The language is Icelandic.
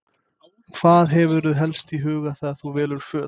Hvað hefurðu helst í huga þegar þú velur föt?